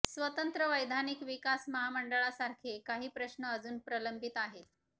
स्वतंत्र वैधानिक विकास महामंडळासारखे काही प्रश्न अजून प्रलंबित आहेत